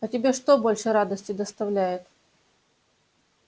а тебе что больше радости доставляет